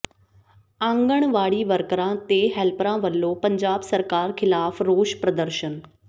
ਆਂਗਣਵਾੜੀ ਵਰਕਰਾਂ ਤੇ ਹੈਲਪਰਾਂ ਵੱਲੋਂ ਪੰਜਾਬ ਸਰਕਾਰ ਖ਼ਿਲਾਫ਼ ਰੋਸ ਪ੍ਰਦਰਸ਼ਨ